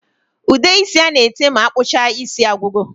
Ude isi ana ete ma akpụcha isi agwụgo